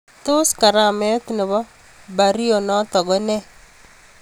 Tos karameet nepoo pario notok ko nee?